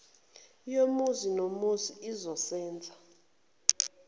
yomuzi nomuzi izosenza